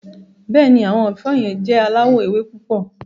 Bẹ́ẹ̀ni, awọn ẹfọ̀ yẹn jẹ̀ aláwọ̀ èwè̀ púpọ̀.